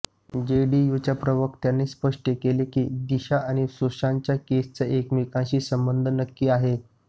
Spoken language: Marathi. जेडीयूच्या प्रवक्त्यांनी स्पष्ट केलं की दिशा आणि सुशांतच्या केसचा एकमेकांशी संबंध नक्की आहे